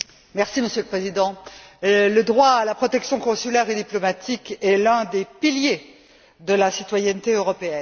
Monsieur le Président, le droit à la protection consulaire et diplomatique est l'un des piliers de la citoyenneté européenne.